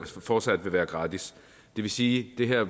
fortsat vil være gratis det vil sige at det her